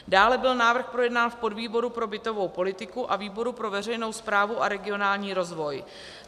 Dále byl návrh projednán v podvýboru pro bytovou politiku a výboru pro veřejnou správu a regionální rozvoj.